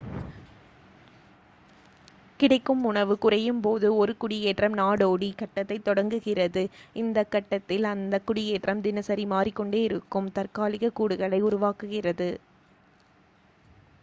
கிடைக்கும் உணவு குறையும் போது ஒரு குடியேற்றம் நாடோடி கட்டத்தைத் தொடங்குகிறது இந்தக் கட்டத்தில் அந்தக் குடியேற்றம் தினசரி மாறிக்கொண்டேயிருக்கும் தற்காலிக கூடுகளை உருவாக்குகிறது